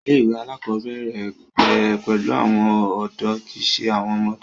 ilé ìwé àkọ́bẹ̀rẹ̀ bẹ̀rẹ̀ pẹ̀lú áwọn ọ̀dọ́ kìí ṣe àwọn ọmọdé